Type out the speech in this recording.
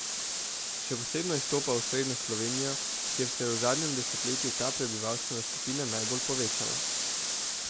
Še posebno izstopa osrednja Slovenija, kjer se je v zadnjem desetletju ta prebivalstvena skupina najbolj povečala.